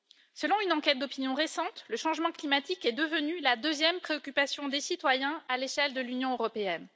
Selon une enquête d'opinion récente, le changement climatique est devenu la deuxième préoccupation des citoyens à l'échelle de l'Union européenne.